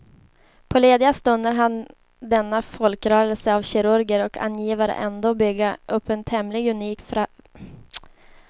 På lediga stunder hann denna folkrörelse av kirurger och angivare ändå bygga upp ett tämligen unikt välfärdssamhälle och trygga den politiska demokratin.